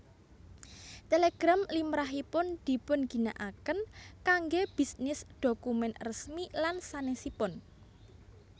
Télégram limrahipun dipunginakaken kanggé bisnis dhokumen resmi lan sanèsipun